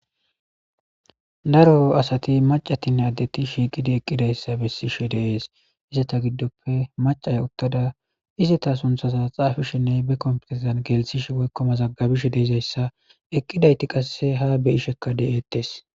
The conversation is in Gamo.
Daro adati macatinne addeti shiiqidinne eqidaysa besishe dees izeta gidope macaya uttada izeta sunthaza xaafashenne be kompiterezan gelthashe woylo mazagabashe dizaysa eqidayti qase be'isheka de'etes